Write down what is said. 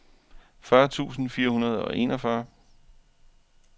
fyrre tusind fire hundrede og enogfyrre